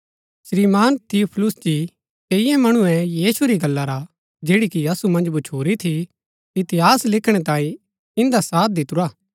श्रीमान थियुफिलुस जी कईये मणुऐ यीशु री गल्ला रा जैड़ी कि असु मन्ज भच्छुरी थी इतिहास लिखणै तांई ईन्दा साथ दितुरा